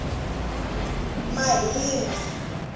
mahinga